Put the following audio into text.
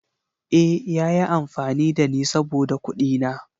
Eh, ya yi amfani da ni saboda kuɗina.